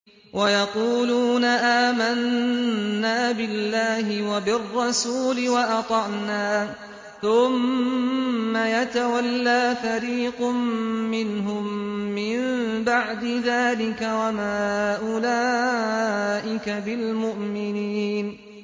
وَيَقُولُونَ آمَنَّا بِاللَّهِ وَبِالرَّسُولِ وَأَطَعْنَا ثُمَّ يَتَوَلَّىٰ فَرِيقٌ مِّنْهُم مِّن بَعْدِ ذَٰلِكَ ۚ وَمَا أُولَٰئِكَ بِالْمُؤْمِنِينَ